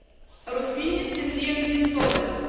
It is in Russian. руфине сергеевне соболь